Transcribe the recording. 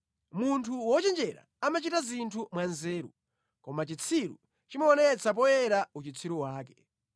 Munthu wochenjera amachita zinthu mwanzeru, koma chitsiru chimaonetsa poyera uchitsiru wake.